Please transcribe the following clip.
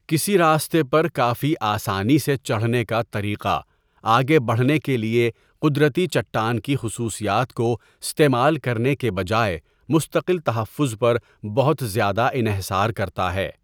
کسی راستے پر کافی آسانی سے چڑھنے کا طریقہ، آگے بڑھنے کے لیے قدرتی چٹان کی خصوصیات کو استعمال کرنے کے بجائے مستقل تحفظ پر بہت زیادہ انحصار کرتا ہے۔